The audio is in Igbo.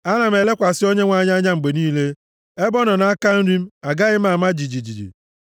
Ana m elekwasị Onyenwe anyị anya mgbe niile. Ebe ọ nọ nʼaka nri m, agaghị m ama jijiji.